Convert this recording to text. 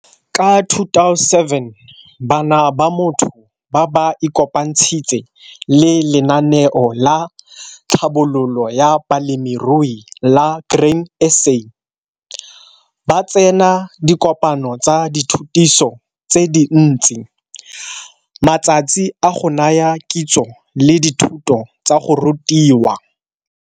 Ka 2007, bana ba motho ba ba ikopantshitse le Lenaneo la Tlhabololo ya Balemirui la Grain SA. Ba tsena dikopano tsa dithutiso tse dintsi, matsatsi a go naya kitso le dithuto tsa go rutiwa.